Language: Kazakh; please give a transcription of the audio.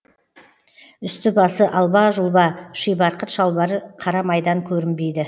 үсті басы алба жұлба шибарқыт шалбары қара майдан көрінбейді